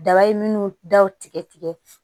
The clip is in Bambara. Daba ye minnu daw tigɛ tigɛ